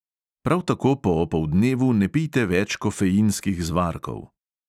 Prav tako po opoldnevu ne pijte več kofeinskih zvarkov.